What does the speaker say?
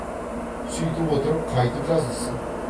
сүйтіп отырып қайтып жазылсын